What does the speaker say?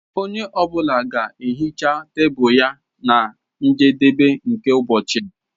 Onye ọ bụla ga-ehicha tebụl ya na njedebe nke ụbọchị.